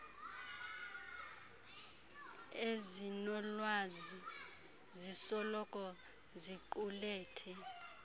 ezinolwazi zisoloko ziqulethe